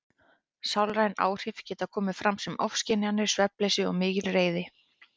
Sálræn áhrif geta komið fram sem ofskynjanir, svefnleysi og mikil reiði.